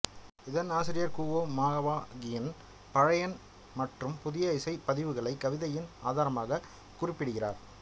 இதன் ஆசிரியர் Guo Maoqian பழைய மற்றும் புதிய இசை பதிவுகளை கவிதையின் ஆதாரமாக குறிப்பிடுகிறார்